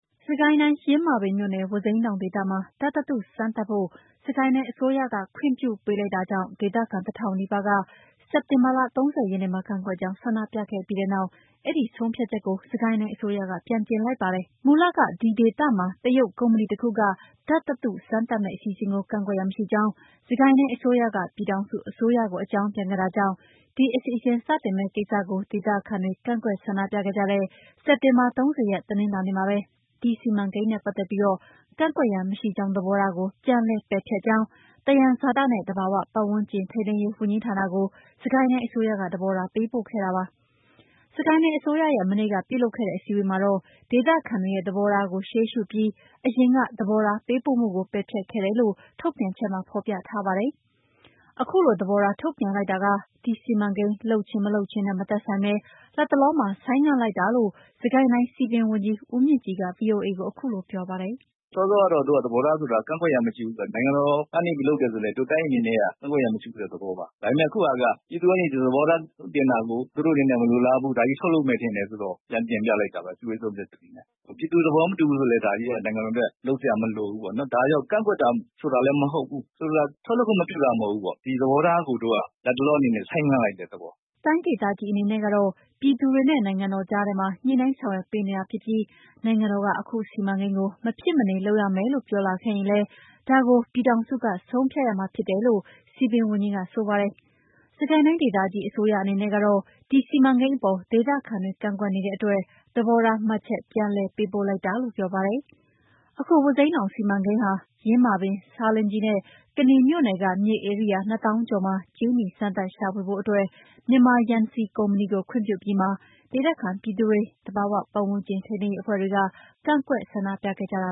စစ်ကိုင်းတိုင်း၊ ယင်းမာပင်မြို့နယ်၊ ဝါးစိမ်းတောင်ဒေသမှာ ဓာတ်သတ္ထုစမ်းသပ်ဖို့ စစ်ကိုင်းတိုင်းအစိုးရက ခွင့်ပြုပေးလိုက်တာကြောင့် ဒေသခံ တထောင်နီးပါးက စက်တင်ဘာလ ၃၀ရက်နေ့မှာ ကန့်ကွက်ကြောင်းဆန္ဒပြခဲ့ပြီးတဲ့နောက် အဲဒီ ဆုံးဖြတ်ချက်ကို စစ်ကိုင်းတိုင်းအစိုးရက ပြန်ပြင်လိုက်ပါတယ်။ မနန်းလောင်ဝ်က ပြောပြမှာပါ မူလက ဒီဒေသမှာ တရုတ်ကုမ္ပဏီတခုက ဓာတ်သတ္ထုစမ်းသပ်မယ့်အစီအစဉ်ကို ကန့်ကွက်ရန်မရှိကြောင်း စစ်ကိုင်းတိုင်းအစိုးရက ပြည်ထောင်စုအစိုးရကို အကြောင်းပြန်ခဲ့တာကြောင့် ဒီအစီအစဉ်စတင်မယ့်ကိစ္စကို ဒေသခံတွေ ကန့်ကွက်ဆန္ဒပြကြတဲ့ စက်တင်ဘာ ၃၀ ရက်၊ တနင်္လာနေ့မှာဘဲ ဒီစီမံကိန်းနဲ့ပတ်သက်ပြီး ကန့်ကွက်ရန် မရှိကြောင်း သဘောထားကို ပြန်လည်ပယ်ဖျက်ကြောင်း သယံဇာတနှင့်သဘာဝပတ်ဝန်းကျင် ထိန်းသိမ်းရေး ဝန်ကြီးဌာနကို စစ်ကိုင်းတိုင်းအစိုးရက သဘောထားပေးပို့ခဲ့ပါတယ်။ စစ်ကိုင်းတိုင်းအစိုးရရဲ့ မနေ့ကပြုလုပ်တဲ့အစည်းအဝေးမှာ ဒေသခံတွေရဲ့သဘောထားကိုရှေးရှုပြီး အရင်ကသဘောထားပေးပို့မှုကို ပယ်ဖျက်ခဲ့တယ်လို့ ထုတ်ပြန်ချက်မှာ ဖော်ပြထားပါတယ်။ အခုလိုသဘောထားထုတ်ပြန်လိုက်တာက ဒီစီမံကိန်းလုပ်ခြင်း၊ မလုပ်ခြင်းနဲ့မသက်ဆိုင်ဘဲ လတ်တလောမှာ ဆိုင်းငံ့လိုက်တာလို့ စစ်ကိုင်းတိုင်းစည်ပင်ဝန်ကြီး ဦးမြင့်ကြည်က ဗွီအိုအေကို အခုလို ပြောပါတယ်။ “စောစောကတော့ တို့ကသဘောထားဆိုတာ ကန့်ကွက်ရန်မရှိဘူးဆိုတာ နိုင်ငံတော် ကနေပြီး လုပ်တယ်ဆိုလည်း တို့တိုင်းအနေနဲ့က ကန့်ကွက်ရန်မရှိဘူးဆိုတဲ့သဘောပါ။ ဒါပေမယ့် အခုဟာက ပြည်သူကနေ ဒီလို သဘောထားထုတ်ပြန်တာကို သူတို့အနေနဲ့မလိုလားဘူး။ ဒါကြီး ထုတ်လုပ်မယ် ထင်တယ်ဆိုတော့ ပြန်တင်ပြလိုက်တာပါ အစည်းအဝေးဆုံးဖြတ်ချက်အနေနဲ့။ ပြည်သူတွေ သဘောမတူဘူးဆိုရင်လည်း ဒါကြီးက နိုင်ငံတော်အတွက်လုပ်စရာမလိုဘူးပေါ့နော်။ ဒါကြောင့် ကန့်ကွက်တာဆိုတာလည်း မဟုတ်ဘူး။ ဆိုလိုတာ ထုတ်လုပ်ခွင့်မပြုတာမဟုတ်ဘူးပေါ့။ ဒီသဘောထားကို တို့ကလတ်တလောအနေနဲ့ ဆိုင်းငံ့လိုက်တဲ့သဘော။” တိုင်းဒေသကြီးအနေနဲ့ကတော့ ပြည်သူတွေနဲ့ နိုင်ငံတော်ကြားထဲမှာ ညှိနှိုင်းဆောင်ရွက်ပေးတာဖြစ်ပြီး၊ နိုင်ငံတော်က အခုစီမံကိန်းကို မဖြစ်မနေလုပ်ရမယ်ပြောလာခဲ့ရင်လည်း ဒါကို ပြည်ထောင်စုက ဆုံးဖြတ်ရမှာဖြစ်တယ်လို့ စည်ပင်ဝန်ကြီးက ဆိုပါတယ်။ စစ်ကိုင်းတိုင်းဒေသကြီးအစိုးရအနေနဲ့ကတော့ ဒီစီမံကိန်းအပေါ် ဒေသခံတွေကန့်ကွက်နေတဲ့အတွက် သဘောထားမှတ်ချက်ပြန်လည်ပေးပို့ လိုက်တာလို့ ပြောပါတယ်။ အခု ဝါးစိမ်းတောင်စီမံကိန်းက ယင်းမာပင်၊ ဆားလင်းကြီးနဲ့ ကနီမြို့နယ်က မြေဧရိယာ ၂သောင်းကျော်မှာ ကြေးနီစမ်းသပ် ရှာဖွေဖို့အတွက် မြန်မာယန်စီကုမ္ပဏီကို ခွင့်ပြုအပြီးမှာ ဒေသခံပြည်သူတွေ၊ သဘာဝပတ်ဝန်းကျင် ထိန်းသိမ်းရေးအဖွဲ့တွေက ကန့်ကွက် ဆန္ဒပြခဲ့ကြတာ